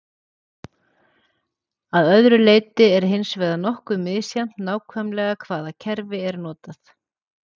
Að öðru leyti er hins vegar nokkuð misjafnt nákvæmlega hvaða kerfi er notað.